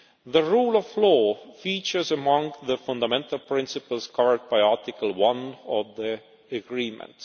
The rule of law features among the fundamental principles covered by Article 1 of the Agreement.